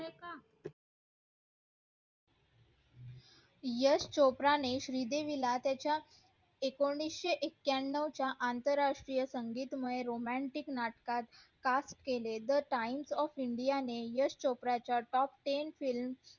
यश चोप्रा ने श्री देवीला त्याच्या एकोणीशे ऐक्यनव च्या आंतराष्ट्रीय संगीतमय romantic नाटकात काम केले त times of india ने यश चोप्राच्या top ten film